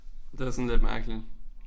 Det var sådan lidt mærkeligt